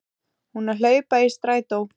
Hún að hlaupa í strætó.